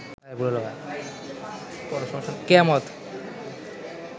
কেয়ামত